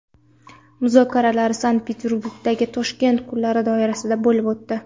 Muzokaralar Sankt-Peterburgdagi Toshkent kunlari doirasida bo‘lib o‘tdi.